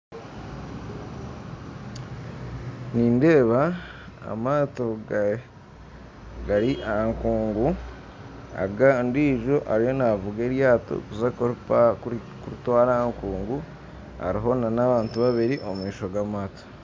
Nindeeba amaato gari ahakungu ondiijo ariyo naavuga eryato kuritwara aha nkungu hariho n'abantu babiri omumaisho g'amaato